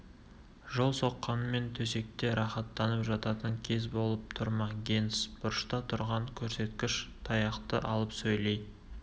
жол соққанмен төсекте рахаттанып жататын кез болып тұр ма генс бұрышта тұрған көрсеткіш таяқты алып сөйлей